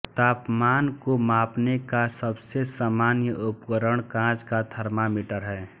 तापमान को मापने का सबसे सामान्य उपकरण कांच का थर्मामीटर है